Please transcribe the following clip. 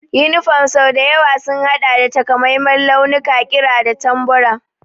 Yunifom sau da yawa sun haɗa da takamaiman launuka, ƙira da tambura.